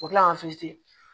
O kila ka